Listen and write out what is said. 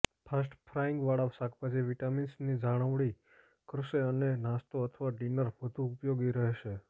fast ફ્રાઈંગવાળા શાકભાજી વિટામિન્સની જાળવણી કરશે અને નાસ્તો અથવા ડિનર વધુ ઉપયોગી રહેશે